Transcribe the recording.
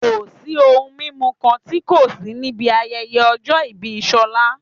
Kò sí ohun mímu kan tí kò sí níbi ayẹyẹ ọjọ́ ìbí Ṣọlá